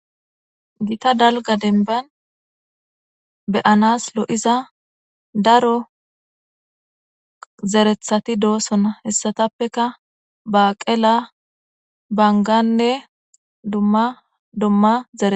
Gita dalga denban beyanas lo'iza daro zerethati doosona hessatappeka baaqela banganne duma dumma zee